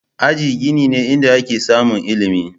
Aji gini ne inda ake samun ilimi.